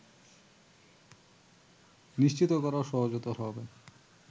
নিশ্চিত করাও সহজতর হবে